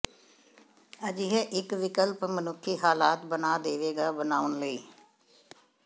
ਅਜਿਹੇ ਇੱਕ ਵਿਕਲਪ ਮਨੁੱਖੀ ਹਾਲਾਤ ਬਣਾ ਦੇਵੇਗਾ ਬਣਾਉਣ ਲਈ